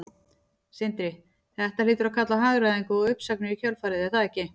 Sindri: Þetta hlýtur að kalla á hagræðingu og uppsagnir í kjölfarið er það ekki?